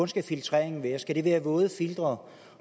skal filtreringen være skal det være våde filtre